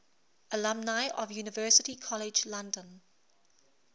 alumni of university college london